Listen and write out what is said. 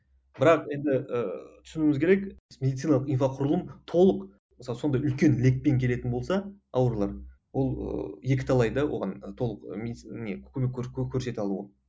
бірақ енді ііі түсінуіміз керек медициналық инфроқұрылым толық мысалы сондай үлкен лекпен келетін болса аурулар ол ыыы екіталай да оған толық не көмек көрсете алуы